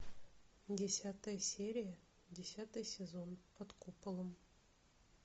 десятая серия десятый сезон под куполом